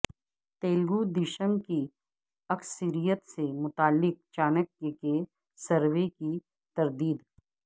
تلگودیشم کی اکثریت سے متعلق چانکیہ کے سروے کی تردید